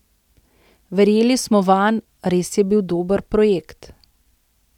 Verjeli smo vanj, res je bil dober projekt.